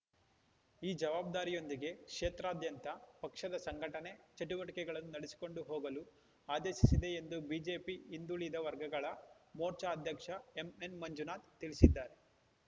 ಈ ಜವಾಬ್ದಾರಿಯೊಂದಿಗೆ ಕ್ಷೇತ್ರದಾದ್ಯಂತ ಪಕ್ಷದ ಸಂಘಟನೆ ಚಟುವಟಿಕೆಗಳನ್ನು ನಡೆಸಿಕೊಂಡು ಹೋಗಲು ಆದೇಶಿಸಿದೆ ಎಂದು ಬಿಜೆಪಿ ಹಿಂದುಳಿದ ವರ್ಗಗಳ ಮೋರ್ಚಾ ಅಧ್ಯಕ್ಷ ಎಂಎನ್‌ಮಂಜುನಾಥ ತಿಳಿಸಿದ್ದಾರೆ